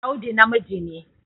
Audu namiji ne